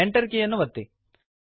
Enter ಕೀಯನ್ನು ಒತ್ತಿ